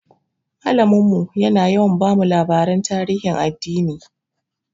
Malamin mu yana yawa bamu labaran tarihin addini.